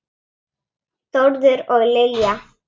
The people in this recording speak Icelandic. Þórður og Lilja.